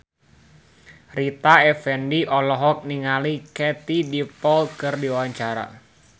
Rita Effendy olohok ningali Katie Dippold keur diwawancara